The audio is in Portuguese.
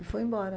E fui embora.